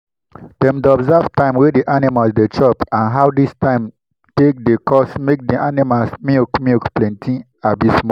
dem dey observe time wey di animals dey chop and how dis time take dey cause make di aninimal milk milk plenti abi small.